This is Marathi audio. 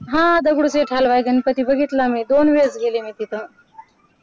हा दगडूशेठ हलवाई गणपती बघितला मी दोन वेळेस गेले तिथं.